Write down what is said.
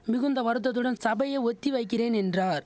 மிகுந்த வருத்தத்துடன் சபையை ஒத்தி வைக்கிறேன் என்றார்